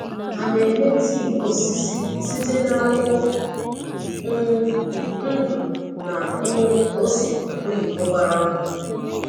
Ha na-eme tii osisi site na akwukwo um ndu na um ose oyibo gbara nkụ.